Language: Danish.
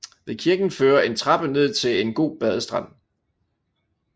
Ved kirken fører en trappe ned til en god badestrand